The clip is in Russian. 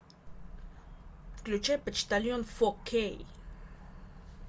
включай почтальон фо кей